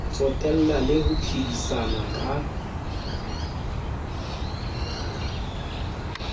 tsotella le ho phedisana ka